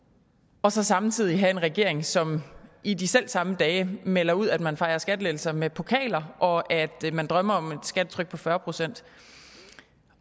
og så samtidig have en regering som i de selv samme dage melder ud at man fejrer skattelettelser med pokaler og at man drømmer om et skattetryk på fyrre procent